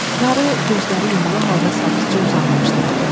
Qarı gözləri yumulu halda sakitcə uzanmışdı.